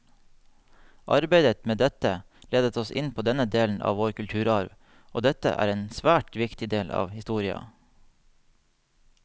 Arbeidet med dette ledet oss inn på denne delen av vår kulturarv, og dette er en svært viktig del av historia.